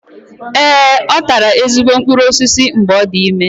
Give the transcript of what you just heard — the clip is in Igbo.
Ee, ọ tara ezigbo mkpụrụ osisi mgbe ọ dị ime.